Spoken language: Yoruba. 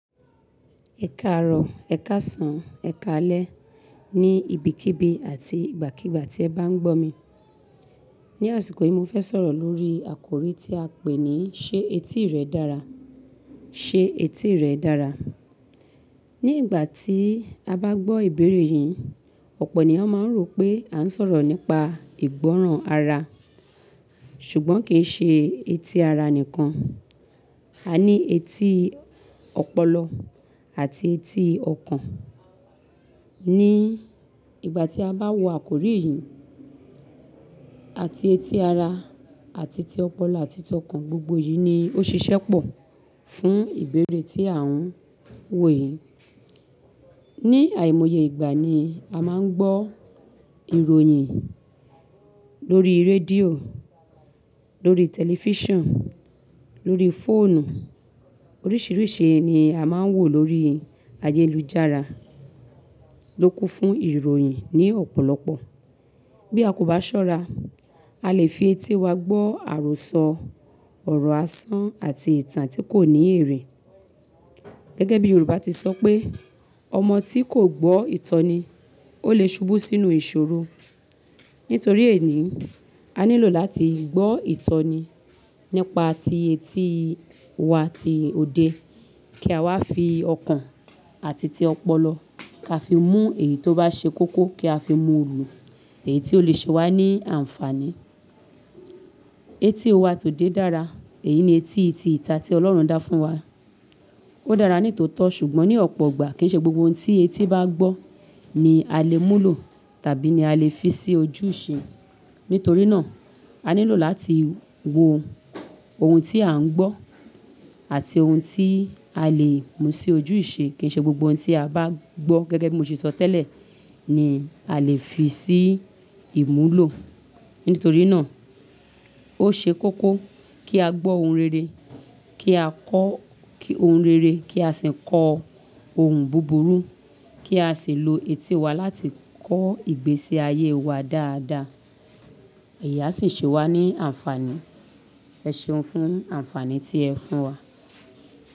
Ẹ káàárọ̀, ẹ̀ káàsán, ẹ̀ káalẹ́ ní ibikíbi àti ìgbàkígbà tí ẹ bá ń gbọ́ mi. Ni àsìkò yìí, mo fẹ́ sọ̀rọ̀ lórí àkòrí tí a pè ní "Ṣé etí rẹ dára?" "Ṣé etí rẹ dára?" Ni ìgbà tí a bá gbọ́ ìbéèrè yìí, ọ̀pọ̀ ènìyàn máa ń rò pé à ń sọ̀rọ̀ nípa ìgbọ́ràn ara. Ṣùgbọ́n kì í ṣe etí ara nìkan, a ní etí ọpọlọ àti etí ọkàn. Ni ìgbà tí a bá wo àkòrí yìí, àti etí ara àti ti ọpọlọ àti ti ọkàn, gbogbo yìí ni ó ṣiṣẹ́ pọ̀ fún ìbéèrè tí à ń wò yìí. Ni àìmọye ìgbà ni a máa ń gbọ́ ìròyìn lórí rédíò, lórí tẹlifíṣàn, lórí fóònù. Oríṣìíríṣìí ni a máa ń wò lórí ayélujára ló kún fún ìròyìn ní ọ̀pọ̀lọpọ̀. Bí a kò bá ṣọ́ra, a lè fi etí wá gbọ́ àròsọ ọ̀rọ̀ asán àti ìtàn tí kò ní èrè. Gẹ́gẹ́ bí Yorùbá ti sọ pé, ọmọ tí kò gbọ́ ìtọ́ni ó lè ṣubú sínú ìṣòro. Nítorí èyí, a nílò láti gbọ́ ìtọ́ni nípa ti etí wa ti òde kí a wá fi ọkàn àti ti ọpọlọ ka fi mú èyí tó bá ṣe koko kí a fi múlò èyí tí ó lè ṣe wá ní àǹfàní. Etí wá tó dé dára, èyí ni etí ti ìta tí Ọlọ́run dá fún wa. Ó dára nítòótọ́ ṣùgbọ́n ní ọ̀pọ̀ igbà kì í ṣe gbogbo ohun tí etí bá gbọ́ ni a lè múlò tàbí ni a lè fi sí ojúṣe. Nítorí náà, a nílò láti wo ohun tí à ń gbọ́ àti ohun tí a lè mú sí ojúṣe. Kì í ṣe gbogbo ohun tí a bá gbọ́ gẹ́gẹ́ bí mo ṣe sọ tẹ́lẹ̀ ni a lè fi sí ìmúlò. Nítorí náà, ó ṣe koko kí á gbọ́ ohun rere, kí a kọ́ ohun rere kí a sì kọ ohun búburú kí a sì lo etí wa láti kọ́ ìgbésí ayé wa dáadaa. Ẹ̀yi a sì ṣe wá ní àǹfàní. Ẹ ṣeun fún àǹfàní tí ẹ fún wa.